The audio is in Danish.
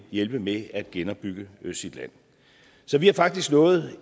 hjælpe med at genopbygge sit land så vi har faktisk nået